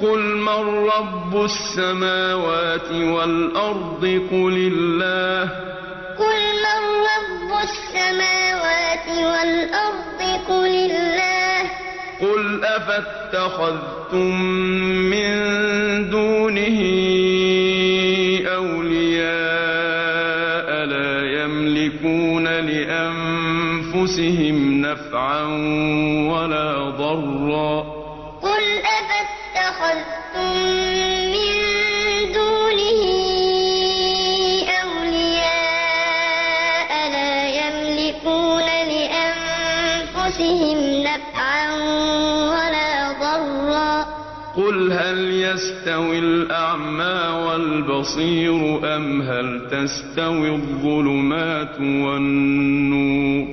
قُلْ مَن رَّبُّ السَّمَاوَاتِ وَالْأَرْضِ قُلِ اللَّهُ ۚ قُلْ أَفَاتَّخَذْتُم مِّن دُونِهِ أَوْلِيَاءَ لَا يَمْلِكُونَ لِأَنفُسِهِمْ نَفْعًا وَلَا ضَرًّا ۚ قُلْ هَلْ يَسْتَوِي الْأَعْمَىٰ وَالْبَصِيرُ أَمْ هَلْ تَسْتَوِي الظُّلُمَاتُ وَالنُّورُ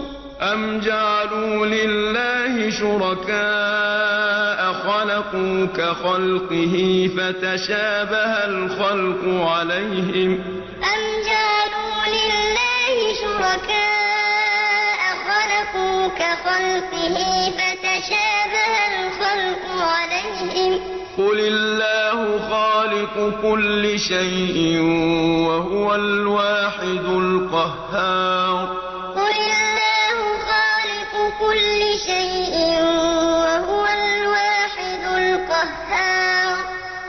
ۗ أَمْ جَعَلُوا لِلَّهِ شُرَكَاءَ خَلَقُوا كَخَلْقِهِ فَتَشَابَهَ الْخَلْقُ عَلَيْهِمْ ۚ قُلِ اللَّهُ خَالِقُ كُلِّ شَيْءٍ وَهُوَ الْوَاحِدُ الْقَهَّارُ قُلْ مَن رَّبُّ السَّمَاوَاتِ وَالْأَرْضِ قُلِ اللَّهُ ۚ قُلْ أَفَاتَّخَذْتُم مِّن دُونِهِ أَوْلِيَاءَ لَا يَمْلِكُونَ لِأَنفُسِهِمْ نَفْعًا وَلَا ضَرًّا ۚ قُلْ هَلْ يَسْتَوِي الْأَعْمَىٰ وَالْبَصِيرُ أَمْ هَلْ تَسْتَوِي الظُّلُمَاتُ وَالنُّورُ ۗ أَمْ جَعَلُوا لِلَّهِ شُرَكَاءَ خَلَقُوا كَخَلْقِهِ فَتَشَابَهَ الْخَلْقُ عَلَيْهِمْ ۚ قُلِ اللَّهُ خَالِقُ كُلِّ شَيْءٍ وَهُوَ الْوَاحِدُ الْقَهَّارُ